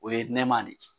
O ye nɛma de ye